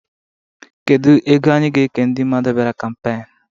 Kedu ego anyị ga-eke ndị mmadụ bịara kampeen?